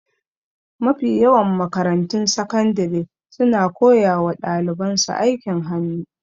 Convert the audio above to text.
Mafi yawan makarantun sakandire suna koya wa daliban su aikin hannu